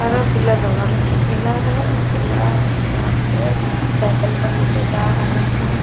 हरा पीला दोनों रंग के केला है अ केला लाद के साइकल पर ले के जा रहे हैं।